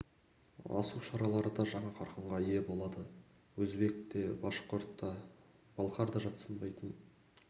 асу шаралары жаңа қарқынға ие болады өзбек те башқұрт та балқар да жатсынбайтын